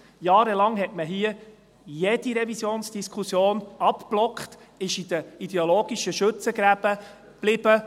Jahrelang hat man hier jede Revisionsdiskussion abgeblockt, ist in den ideologischen Schützengräben geblieben.